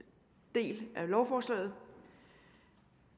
del af lovforslaget